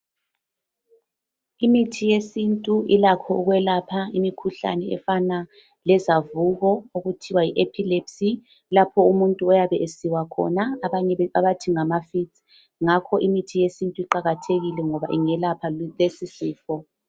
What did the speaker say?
Imithi yesintu ilakho ukwelapha imikhuhlane efana lezacuko okuthiwa yi"epilepsy" lapho umuntu oyabe esiwa khona abanye abathi ngama"Fits" ngakho imithi yesintu iqakathekile ngobe ingelapha lesi sifo.